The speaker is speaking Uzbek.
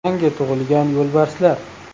Yangi tug‘ilgan yo‘lbarslar.